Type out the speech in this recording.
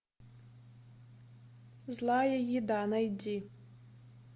злая еда найди